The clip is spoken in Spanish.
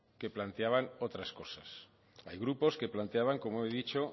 que planteaban otras cosas hay grupos que planteaban como he dicho